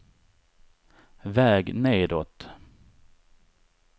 väg nedåt